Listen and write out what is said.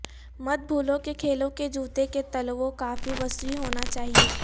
مت بھولو کہ کھیلوں کے جوتے کے تلووں کافی وسیع ہونا چاہئے